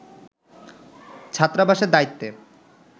ছাত্রাবাসের দায়িত্বে